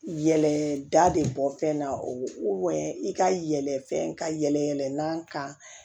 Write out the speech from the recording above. Yɛlɛda de bɔ fɛn na i ka yɛlɛ fɛn ka yɛlɛ n'an kan